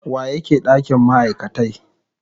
wa yake dakin ma'aikatai.